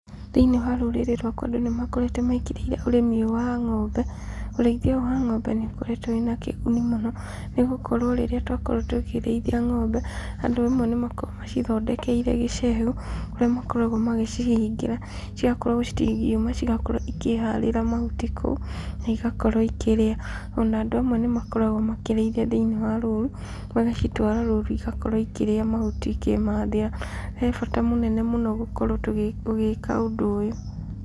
Thĩiniĩ wa rũrĩrĩ rwakwa andũ nĩ makoretwo mekĩrĩire ũrĩmi ũyũ wa ng'ombe. Ũrĩithia ũyũ wa ng'ombe nĩ ũkoretwo wĩ na kĩguni mũno, nĩ gũkorwo rĩrĩa twakorwo tũkĩrĩithia ng'ombe, andũ amwe nĩ makoragwo macithondekeire gĩcegũ kũrĩa makoragwo magĩcihingĩra cigakorwo citingiuma, cigakorwo ikĩharĩra mahuti kũu na igakorwo ikĩrĩa. O na andũ amwe nĩ makoragwo makĩrĩithia thĩiniĩ wa rũru, magacitwara rũru igakorwo ikĩrĩa mahuti ikĩmathĩra. He bata mũnene mũno gũkorwo tũgĩka ũndũ ũyũ.